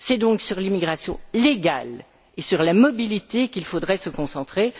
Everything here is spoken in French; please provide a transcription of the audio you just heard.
C'est donc sur l'immigration légale et sur la mobilité qu'il faudrait se concentrer.